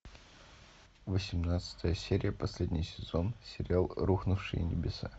восемнадцатая серия последний сезон сериал рухнувшие небеса